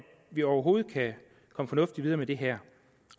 vi overhovedet kan komme fornuftigt videre med det her